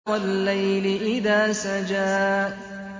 وَاللَّيْلِ إِذَا سَجَىٰ